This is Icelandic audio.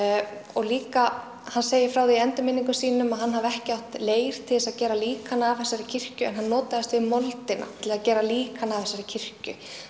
og líka hann segir frá því í endurminningum sínum að hann hafi ekki átt leir til þess að gera líkan af þessari kirkju en hann notaðist við moldina til að gera líkan af þessari kirkju